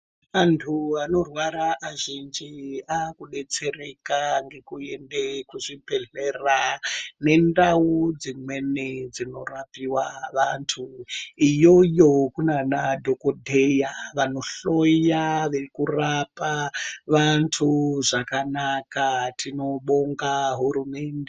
Antu anorwara azhinji akudetserwa ngekuenda kuzvibhehlera nendau dzimweni dzinorapiwa vantu. Iyoyo kunana dhokodheya vanohloya nekurapa vantu zvakanaka. Tinobonga hurumende.